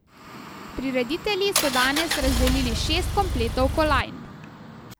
Prireditelji so danes razdelili šest kompletov kolajn.